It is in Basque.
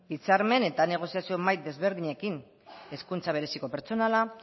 hitzarmen eta negoziazio mahai ezberdinekin hezkuntza bereziko pertsonala